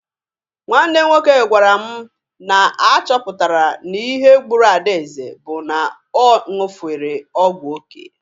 Nwanne m nwoke gwara mụ na a chọpụtara na ihe gburu Adaeze bụ na ọ ṅụfere ọgwụ oke.